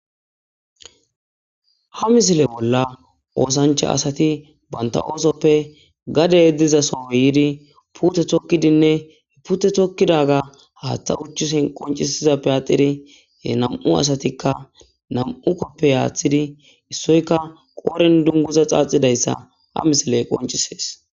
ha misile bolla oosancha asati banta oosoppe gade yeddizasoyidi pute thokkidinne hepute thokkidaga haaththa uchchusen qoncisizappe atirie nam7u asatikka nam7u koppe aaththidi issoyka qooren dunguza xaaxidayssa ha misile qoncisees.